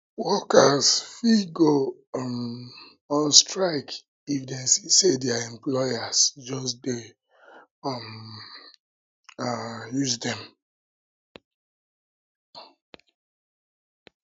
workers fit go um on strike if dem see say their employers just de um um use dem